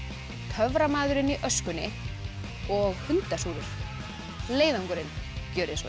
töframaðurinn í öskunni og hundasúrur leiðangurinn gjörið svo